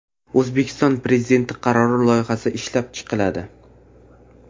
O‘zbekiston Prezidenti qarori loyihasi ishlab chiqiladi.